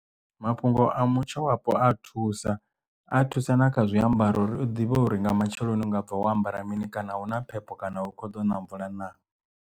Mafhungo a mutsho wapo a thusa a thusa na kha zwiambaro uri u ḓivhe uri nga matsheloni u nga bva wo ambara mini kana hu na phepho kana u kho ḓo na mvula na.